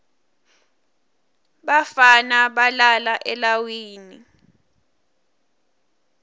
bafana balala elawini